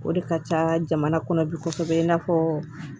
O de ka ca jamana kɔnɔ bi kosɛbɛ in n'a fɔ